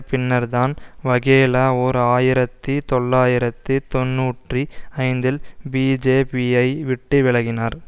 பின்னர்தான் வகேலா ஓர் ஆயிரத்தி தொள்ளாயிரத்தி தொன்னூற்றி ஐந்தில் பிஜேபிஐ விட்டு விலகினார்